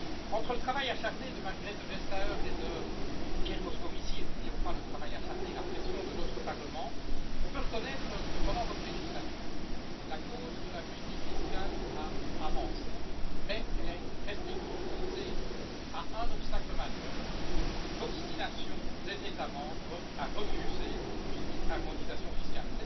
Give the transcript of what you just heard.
Entre le travail acharné de Margrethe Vestager et de Pierre Moscovici et n'oublions pas le travail acharné et la pression de notre Parlement on peut reconnaître que, pendant votre législature, la cause de la justice fiscale a avancé, mais elle est restée confrontée à un obstacle majeur l'obstination des États membres à refuser toute harmonisation fiscale.